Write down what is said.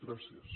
gràcies